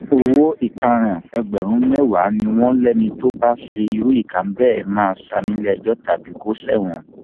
owó ìtanràn ẹgbẹrún mẹwàá ni wọn lẹni tó bá ṣe irú nǹkan bẹẹ máa san níléẹjọ tàbí kò ṣẹwọn